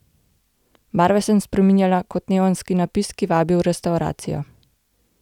Barve sem spreminjala kot neonski napis, ki vabi v restavracijo.